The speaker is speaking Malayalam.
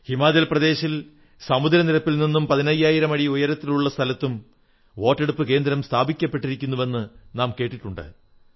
ഹിമാചൽ പ്രദേശിൽ സമുദ്ര നിരപ്പിൽ നിന്നും 15000 അടി ഉയരത്തിലുള്ള സ്ഥലത്തും വോട്ടെടുപ്പു കേന്ദ്രം സ്ഥാപിക്കപ്പെട്ടിരിക്കുന്നുവെന്നു നാം കേട്ടിട്ടുണ്ട്